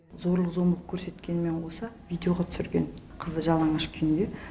зорлық зомбылық көрсеткенімен қоса видеоға түсірген қызды жалаңаш күйінде